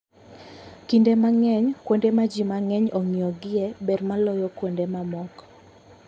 Kinde mang'eny, kuonde ma ji mang'eny ong'iyogie ber moloyo kuonde mamoko.